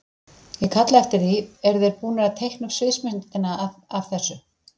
Ég kalla eftir því, eru þeir búnir að teikna upp sviðsmyndina af þessu?